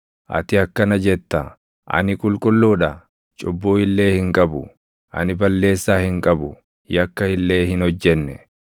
Ati akkana jetta: ‘Ani qulqulluu dha; cubbuu illee hin qabu; ani balleessaa hin qabu; yakka illee hin hojjenne.